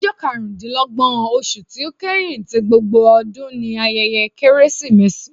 Ọjọ karundinlọgbọn oṣu ti o kẹhin ti gbógbó ọdun ni ayẹyẹ Keresimesi.